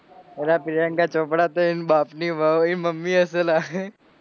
અલ્યા પ્રિયંકા ચોપડા એન બાપની વહું એન મમ્મી હશે લ્યા